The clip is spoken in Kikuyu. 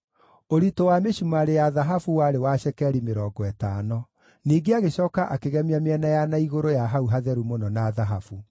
Ũritũ wa mĩcumarĩ ya thahabu warĩ wa cekeri mĩrongo ĩtano. Ningĩ agĩcooka akĩgemia mĩena ya na igũrũ ya hau Hatheru-Mũno na thahabu.